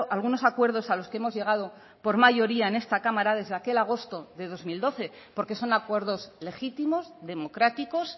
algunos acuerdos a los que hemos llegado por mayoría en esta cámara desde aquel agosto de dos mil doce porque son acuerdos legítimos democráticos